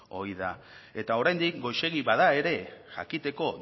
ohi da eta oraindik goizegi bada ere jakiteko